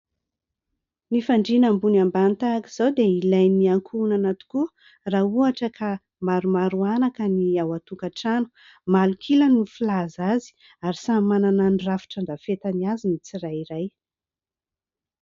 Ny fandriana ambony ambany tahaka izao dia ilain'ny ankohonana tokoa raha ohatra ka maromaro anaka ny ao an-tokantrano. Malok'ila no filaza azy ary samy manana ny rafitra andrafetany azy ny tsirairay.